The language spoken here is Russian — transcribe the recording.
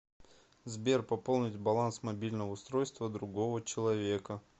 сбер пополнить баланс мобильного устройства другого человека